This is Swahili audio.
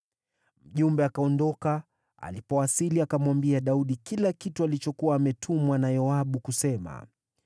Mjumbe akaondoka. Alipowasili akamwambia Daudi kila kitu alichokuwa ametumwa na Yoabu kusema.